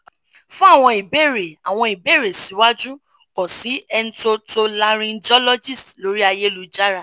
fun Àwọn ìbéèrè Àwọn ìbéèrè siwaju kan si entotolaryngologist lori ayélujára